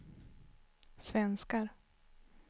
svenskar